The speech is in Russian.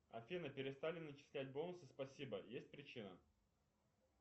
афина перестали начислять бонусы спасибо есть причина